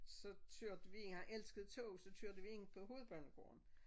Så kørte vi ind han elskede tog så kørte vi ind på Hovedbanegården